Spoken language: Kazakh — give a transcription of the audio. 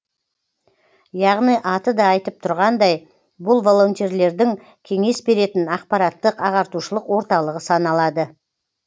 яғни аты да айтып тұрғандай бұл волонтерлердің кеңес беретін ақпараттық ағартушылық орталығы саналады